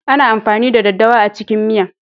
Ana amfani da daddawa a cikin miya.